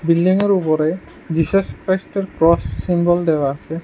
বিল্ডিংয়ের উপরে জিসাস ক্রাইস্টের ক্রস সিম্বল দেওয়া আছে।